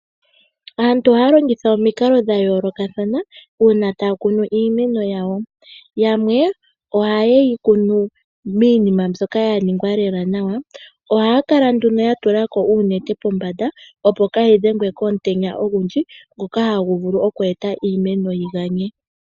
Aantu ohaya longitha omikalo dha yooloka uuna taya kunu iimeno yawo, yamwe oha ye yi kunu miinima mbyoka ya ningwa lela nawa. Ohaya kala yatulako nduno uunete pombada, opo kaayi dhengwe komutenya ogundji ngoka hagu vulu oku eta iimeno yi ganye.